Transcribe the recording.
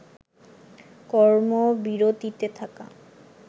কর্মবিরতিতে থাকা